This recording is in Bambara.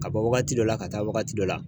Ka bɔ wagati dɔ la, ka taa wagati dɔ la.